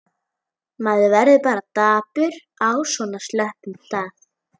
Maður verður bara dapur á svona slöppum stað.